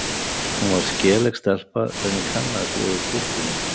Hún var skelegg stelpa sem ég kannaðist við úr kirkjunni.